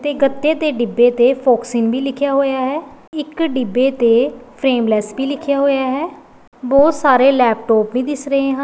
ਤੇ ਗੱਤੇ ਦੇ ਡਿੱਬੇ ਤੇ ਫੋਕਸ਼ਿਗ ਵੀ ਲਿਖਿਆ ਹੋਇਆ ਹੈ ਇੱਕ ਡਿੱਬੇ ਤੇ ਫਰੇਮ ਲੈਸ ਵੀ ਲਿਖਿਆ ਹੋਇਆ ਹੈ ਬਹੁਤ ਸਾਰੇ ਲੈਪਟੋਪ ਵੀ ਦਿਸ ਰਹੇ ਹਨ।